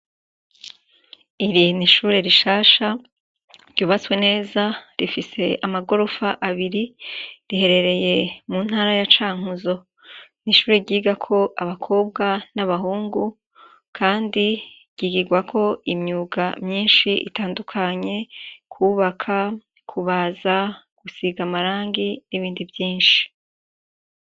Iri n'ishure rishasha ryubatswe neza rifise amagorofa abiri. Riherereye muntara ya cankuzo. n'ishure ryigako abakobwa n'abahungu kandi ryigigwako imyuga myishi itandukanye, kwubaka kubaza, gusiga amarangi n'ibindi vyinshi.